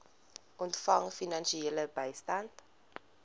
ontvang finansiële bystand